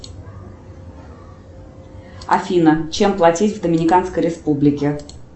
афина чем платить в доминиканской республике